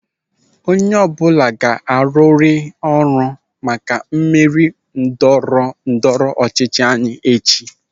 Onye ọbụla ga-arụrịrị ọrụ maka mmeri ndọrọ ndọrọ ọchịchị anyị echi.